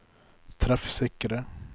treffsikre